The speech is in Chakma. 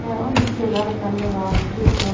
tey undi segar ekkan degong fridge un.